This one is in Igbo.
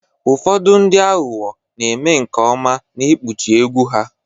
Ụfọdụ ndị aghụghọ na-eme nke ọma n'ikpuchi egwu ha